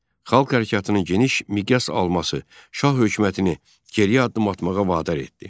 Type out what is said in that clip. Xalq hərəkatının geniş miqyas alması Şah hökumətini geriyə addım atmağa vadar etdi.